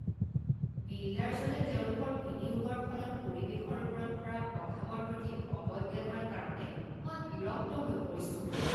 বিল্ডাৰজনে তেওঁলোকৰ বিনিয়োগৰ ফলত পৰিৱেশৰ ওপৰত পৰা প্ৰভাৱৰ প্ৰতি অৱজ্ঞা কৰা কাৰণে মই বিৰক্ত হৈ পৰিছোঁ।